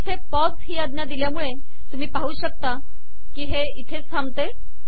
मी येथे पॉज ही आज्ञा दिली हे तुम्ही पाहू शकता ते इथे थांबते